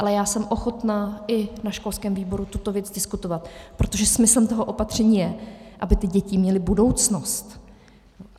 Ale já jsem ochotna i na školském výboru tuto věc diskutovat, protože smyslem toho opatření je, aby ty děti měly budoucnost.